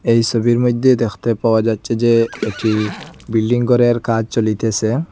এই সবির মইধ্যে দেখতে পাওয়া যাচ্চে যে একটি বিল্ডিং ঘরের কাজ চলিতেসে।